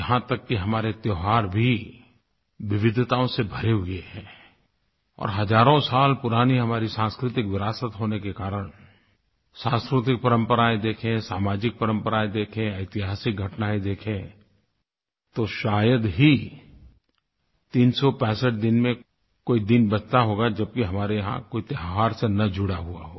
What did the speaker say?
यहाँ तक कि हमारे त्योहार भी विविधताओं से भरे हुए हैं और हज़ारों साल पुरानी हमारी सांस्कृतिक विरासत होने के कारण सांस्कृतिक परम्पराएँ देखें सामाजिक परम्पराएँ देखें ऐतिहासिक घटनायें देखें तो शायद ही 365 दिन में कोई दिन बचता होगा जबकि हमारे यहाँ कोई त्योहार से न जुड़ा हुआ हो